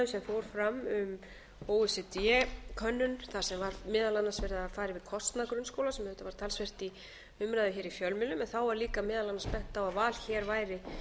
um o e c d könnun þar sem var meðal annars verið að fara yfir kostnað grunnskóla sem reyndar var talsvert í umræðum hér í fjölmiðlum en þá var líka meðal annars bent á að val hér væri